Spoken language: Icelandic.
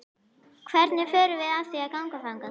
Hvernig förum við að því að ganga þangað?